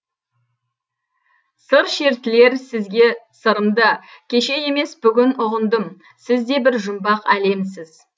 сыр шертілер сізге сырымды кеше емес бүгін ұғындым сіз де бір жұмбақ әлемсіз